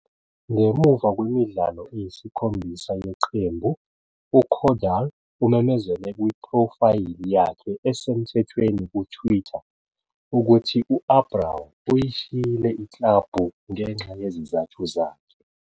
Ngemuva kwemidlalo eyisikhombisa yeqembu, uCaudal umemezele kuphrofayili yakhe esemthethweni kuTwitter, ukuthi u-Abraw uyishiyile iklabhu ngenxa yezizathu zakhe.